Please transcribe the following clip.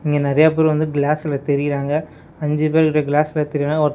இங்க நெறையா பேர் வந்து கிளாஸ்ல தெரியறாங்க அஞ்சு பேர் கிட்ட கிளாஸ்ல தெரியறாங்க ஒருத் --